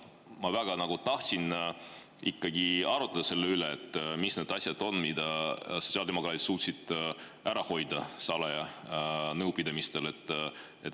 Ma väga tahaksin ikkagi arutada selle üle, mis need asjad on, mida sotsiaaldemokraadid on suutnud ära hoida salajastel nõupidamistel.